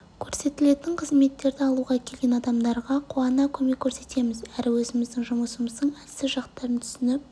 көрсетілетін қызметтерді алуға келген адамдарға қуана көмек көрсетеміз әрі өзіміздің жұмысымыздың әлсіз жақтарын түсініп